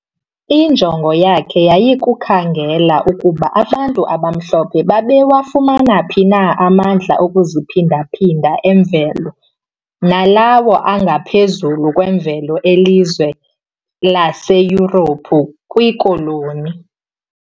iinjongo zakhe yayikukhangela ukuba abantu abamhlophe babewafumana phi na amandla okuziphindaphinda emvelo nalawo angaphezulu kwemvelo elizwe laseYurophu kwiKoloni.